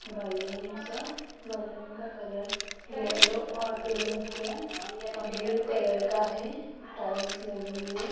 Balloons है balloon का colour yellow और पिंक है ब्ल्यू कलर का है टाइल्स लगी हुई है।